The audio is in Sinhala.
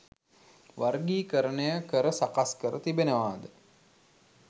වර්ගීකරණය කර සකස් කර තිබෙනවාද?